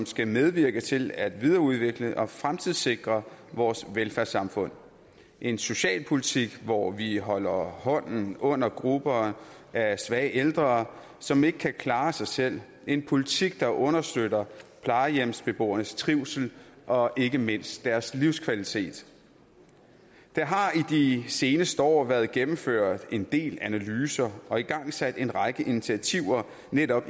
skal medvirke til at videreudvikle og fremtidssikre vores velfærdssamfund en socialpolitik hvor vi holder hånden under grupper af svage ældre som ikke kan klare sig selv en politik der understøtter plejehjemsbeboernes trivsel og ikke mindst deres livskvalitet der har i de seneste år været gennemført en del analyser af og igangsat en række initiativer om netop